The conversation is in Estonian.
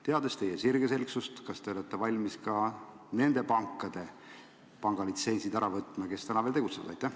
Teades teie sirgeselgsust, küsin: kas te olete valmis ka nende pankade pangalitsentsid ära võtma, kes täna veel tegutsevad?